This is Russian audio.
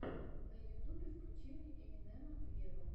на ютубе включи мне эминема вево